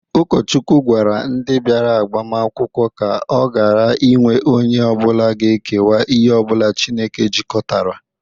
Ụkọchukwu gwara ndị bịara agbamakwụkwọ ka ọ gara inwe onye ọbụla ga-ekewa ihe ọbụla Chineke jikọtarala.